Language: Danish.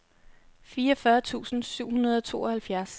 fireogfyrre tusind syv hundrede og tooghalvfjerds